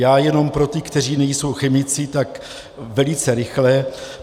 Já jenom pro ty, kteří nejsou chemici, tak velice rychle.